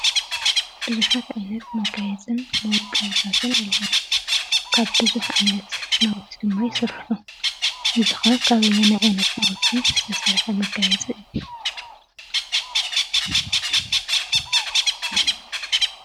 ቡዙሓት ዓይነት መጋየፅታት መወቀብታትን ኣለዉ። ካብ ቡዙሕ ዓይነት ናውቲ ድማ ይስርሑ እዝኸ ካበየናይ ዓይነት ናውቲ ዝተሰረሐ መጋየፂ እዩ?